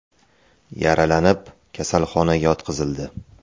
yaralanib, kasalxonaga yotqizildi.